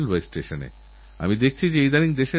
সেই সাক্ষাৎকারটি আমারচিরদিন মনে থাকবে